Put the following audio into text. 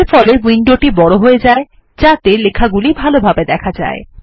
এর ফলে উইন্ডোটি বড় হয়ে যায় যাতে সেটি ভালোভাবে দেখা যায়